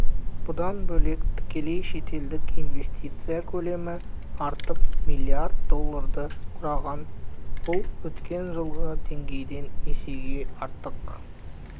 бұдан бөлек тікелей шетелдік инвестиция көлемі артып млрд долларды құраған бұл өткен жылғы деңгейден есеге артық